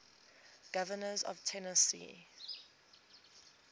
governors of tennessee